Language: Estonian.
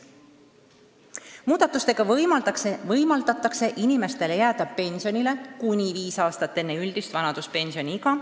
Muudatustega võimaldatakse inimestele jääda pensionile kuni viis aastat enne üldist vanaduspensioniiga.